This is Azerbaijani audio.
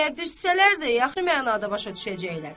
Əgər düzsələr də, yaxşı mənada başa düşəcəklər.